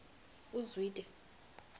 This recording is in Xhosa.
uzwide